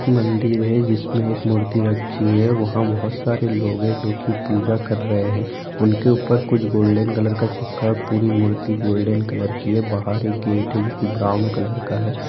मंदिर है जिसमें एक मूर्ति रखी होइ है वहाँ बहुत सरे लोग है जो की पूजा कर रहे हैं उनके ऊपर कुछ गोल्डन कलर का चिपका पूरी मूर्ति गोल्डन कलर की है बहार इक गेट है जो की ब्राउन कलर का है।